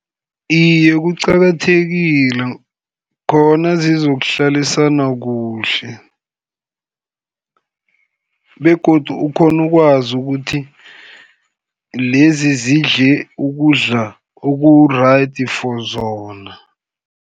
Iye kuqakathekile khona zizokuhlalisana kuhle, begodu ukghone ukwazi ukuthi lezi zidle ukudla oku-right for zona.